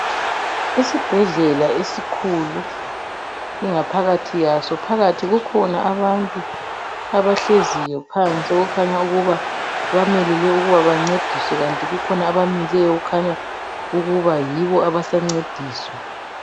Isibhedlela esikhulu ingaphakathi yaso. Phakathi kukhona abantu abahleziyo phansi okukhanya ukuba bamelele ukuba bancediswe ikanti bakhona abamileyo okukhanya ukuba yibo abasancediswa.